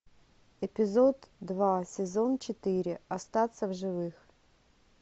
эпизод два сезон четыре остаться в живых